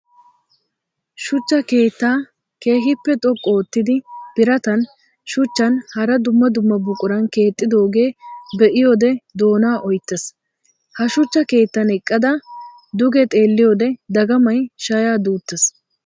Shuchcha keetta keehippe xoqqu oottiddi biratan, shuchchan hara dumma dumma buquran keexxidoga be'iyoode doona oyttes! Ha shuchcha keettan eqqadda duge xeelliyodde dagamay sha'a duutes!